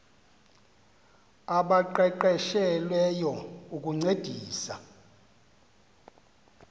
abaqeqeshe lweyo ukuncedisa